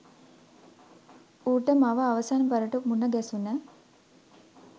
ඌට මව අවසන් වරට මුණ ගැසුණ